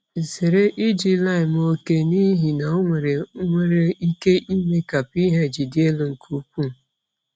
Zere iji lime oke n’ihi na ọ nwere nwere ike ime ka pH dị elu nke ukwuu.